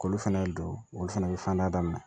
K'olu fana don olu fɛnɛ bɛ fan da daminɛ